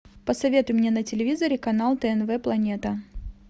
посоветуй мне на телевизоре канал тнв планета